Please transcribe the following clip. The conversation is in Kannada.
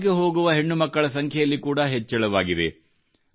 ಶಾಲೆಗೆ ಹೋಗುವ ಹೆಣ್ಣುಮಕ್ಕಳ ಸಂಖ್ಯೆಯಲ್ಲಿ ಕೂಡಾ ಹೆಚ್ಚಳವಾಗಿದೆ